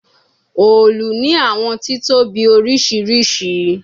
Òòlù ni awọn titobi oriṣiriṣi